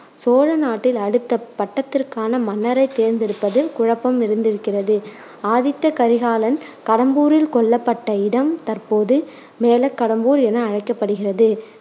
சோழ நாட்டில் அடுத்த பட்டத்திற்கான மன்னரைத் தேர்ந்தெடுப்பதில் குழப்பம் இருந்திருக்கிறது. ஆதித்த கரிகாலன் கடம்பூரில் கொல்லப்பட்ட இடம் தற்போது மேலக்கடம்பூர் என அழைக்கப்படுகிறது